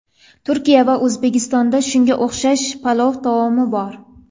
Turkiya va O‘zbekistonda shunga o‘xshash palov taomi bor.